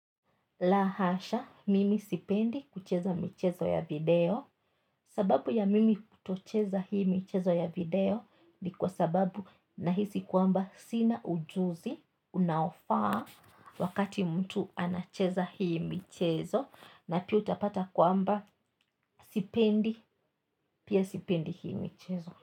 Lahasha mimi sipendi kucheza michezo ya video sababu ya mimi kutocheza hii michezo ya video ni kwa sababu nahisi kwamba sina ujuzi unaofaa wakati mtu anacheza hii michezo na pia utapata kwamba sipendi pia sipendi hii michezo.